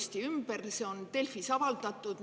See on Delfis avaldatud.